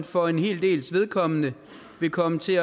for en hel dels vedkommende vil komme til